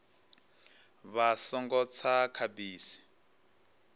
vha songo tsa kha bisi